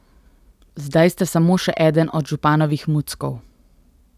Zdaj ste samo še eden od županovih muckov.